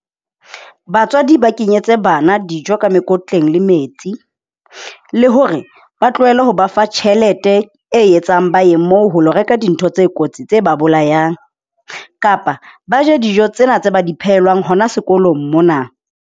Batswadi ba kenyetse bana dijo ka mekotleng le metsi, le hore ba tlohele ho ba fa tjhelete e etsang ba ye moo ho lo reka dintho tse kotsi tse ba bolayang kapa ba je dijo tsena tsa ba di phehelwang hona sekolong mona.